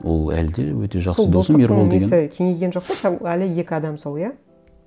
ол әлі де өте жақсы досым несі кеңейген жоқ па әлі екі адам сол иә